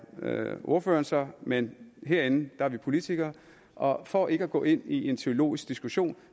ordføreren så men herinde er vi politikere og for ikke at gå ind i en teologisk diskussion